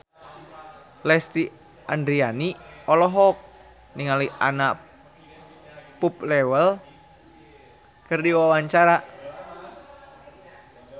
Lesti Andryani olohok ningali Anna Popplewell keur diwawancara